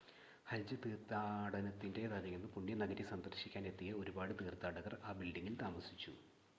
ഹജ്ജ് തീർത്ഥാടനത്തിൻ്റെ തലേന്ന് പുണ്യനഗരി സന്ദർശിക്കാൻ എത്തിയ ഒരുപാട് തീർത്ഥാടകർ ആ ബിൽഡിംങിൽ താമസിച്ചു